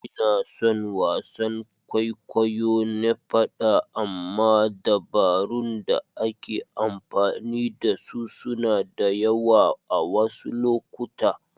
Ina son wasan kwaikwayo na faɗa amma dabarun da ake amfani da su suna da yawa a wasu lokuta.